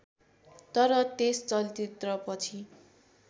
तर त्यस चलचित्रपछि